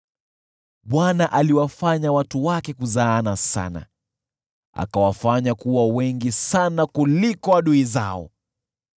Bwana aliwafanya watu wake kuzaana sana, akawafanya kuwa wengi sana kuliko adui zao,